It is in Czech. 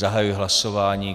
Zahajuji hlasování.